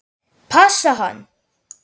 Passa hann?